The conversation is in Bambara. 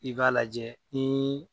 I b'a lajɛ ni